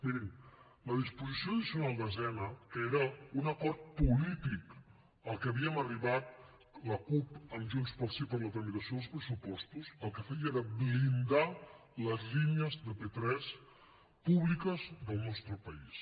mirin la disposició addicional desena que era un acord polític al que havíem arribat la cup amb junts pel sí per a la tramitació dels pressupostos el que feia era blindar les línies de p3 públiques del nostre país